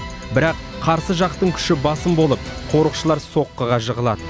бірақ қарсы жақтың күші басым болып қорықшылар соққыға жығылады